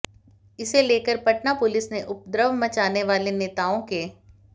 इसे लेकर पटना पुलिस ने उपद्रव मचाने वाले नेताओं के